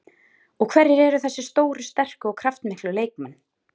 Og hverjir eru þessir stóru, sterku og kraftmiklu leikmenn?